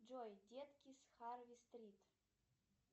джой детки с харви стрит